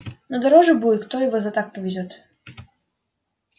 но дороже будет кто его за так повезёт